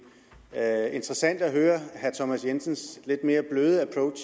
er interessant at høre herre thomas jensens lidt mere bløde approach